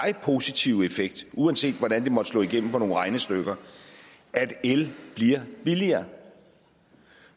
positive effekt uanset hvordan det måtte slå igennem i nogle regnestykker at el bliver billigere